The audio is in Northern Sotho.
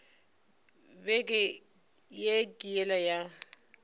beke ye ke yela ya